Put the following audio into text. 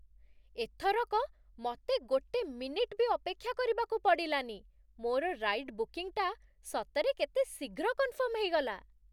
ଏଥରକ ମତେ ଗୋଟେ ମିନିଟ୍ ବି ଅପେକ୍ଷା କରିବାକୁ ପଡ଼ିଲାନି । ମୋର ରାଇଡ୍ ବୁକିଂଟା ସତରେ କେତେ ଶୀଘ୍ର କନଫର୍ମ ହେଇଗଲା!